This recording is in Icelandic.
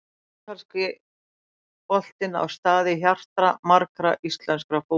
Ítalski boltinn á stað í hjarta margra íslenskra fótboltaáhugamanna.